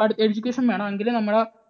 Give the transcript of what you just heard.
പട് education വേണം എങ്കിലേ നമ്മുടെ